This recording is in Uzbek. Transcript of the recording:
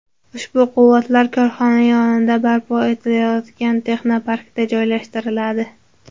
Ushbu quvvatlar korxona yonida barpo etilayotgan texnoparkda joylashtiriladi.